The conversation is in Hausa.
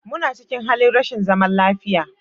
Muna cikin halin rashin zaman lafiya